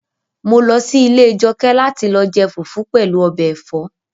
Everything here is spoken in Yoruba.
Mo lọ sí ilé Jọkẹ́ láti lọ jẹ fufu pẹ̀lú ọbẹ̀ ẹ̀fọ́